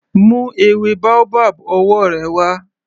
Mú ewé boabab ọwọ́ rẹ wá.